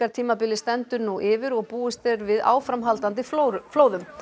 rigningartímabilið stendur nú yfir og búist er við áframhaldandi flóðum flóðum